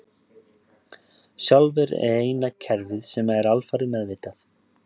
Sjálfið er eina kerfið sem er alfarið meðvitað.